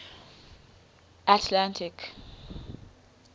atlantic